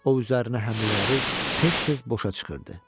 O üzərinə həmlələri tez-tez boşa çıxırdı.